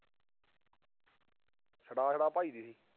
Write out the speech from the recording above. ਛੱਡਾ ਛੱਡਾ ਭੱਜਦੀ ਸੀ।